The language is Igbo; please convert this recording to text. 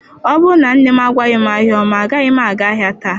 Ọ bụrụ na nne m agwaghị m ahịa ọma agaghị m aga ahịa taa.